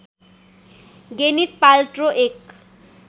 Gwyneth Paltrow एक